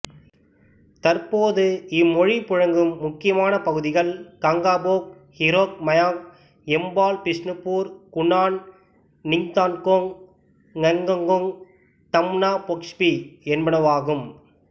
தற்போது இம்மொழி புழங்கும் முக்கியமான பகுதிகள் கங்காபொக் ஹீரொக் மயாங் யம்பால் பிஷ்ணுபூர் குனான் நிங்தான்கோங் ஙய்கோங் தம்னாபொக்ஸ்பி என்பனவாகும்